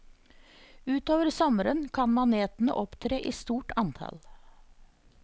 Utover sommeren kan manetene opptre i stort antall.